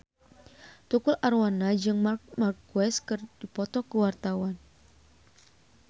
Tukul Arwana jeung Marc Marquez keur dipoto ku wartawan